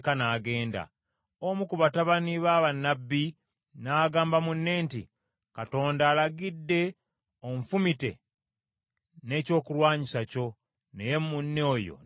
Omu ku batabani ba bannabbi n’agamba munne nti, “Katonda alagidde onfumite n’ekyokulwanyisa kyo,” naye munne oyo n’agaana.